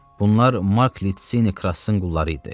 Bunlar Mark Litsini Krassın qulları idi.